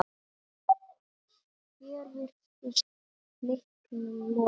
Hér virtist leiknum lokið.